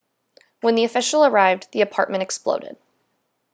when the official arrived the apartment exploded